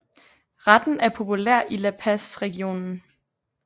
Retten er populær i La Paz regionen